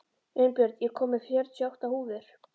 Unnbjörn, ég kom með fjörutíu og átta húfur!